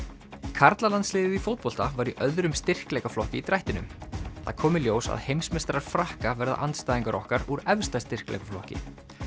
karlalandsliðið í fótbolta var í öðrum styrkleikaflokki í drættinum það kom í ljós að heimsmeistarar Frakka verða andstæðingar okkar úr efsta styrkleikaflokki